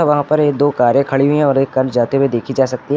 वहां पर ये दो कारें खड़ी हुई है और एक कार जाते हुए देखी जा सकती है।